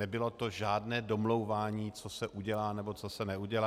Nebylo to žádné domlouvání, co se udělá nebo co se neudělá.